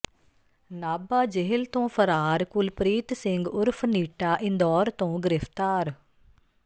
Nabha jail ਤੋਂ ਫ਼ਰਾਰ ਕੁਲਪ੍ਰੀਤ ਸਿੰਘ ਉਰਫ਼ ਨੀਟਾ ਇੰਦੌਰ ਤੋਂ ਗਿ੍ਫ਼ਤਾਰ